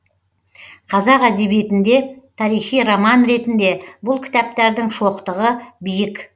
қазақ әдебиетінде тарихи роман ретінде бұл кітаптардың шоқтығы биік